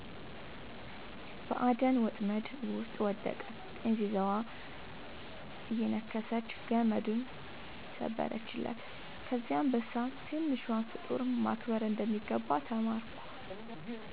በአደን ወጥመድ ውስጥ ወደቀ፤ ጥንዚዛዋ እየነከሰች ገመዱን ሰበረችለት። ከዚያ አንበሳ «ትንሿን ፍጡር ማክበር እንደሚገባ ተማርኩ» አለ